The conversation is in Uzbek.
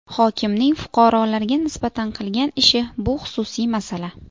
Hokimning fuqarolarga nisbatan qilgan ishi, bu xususiy masala.